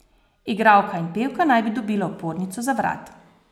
Igralka in pevka naj bi dobila opornico za vrat.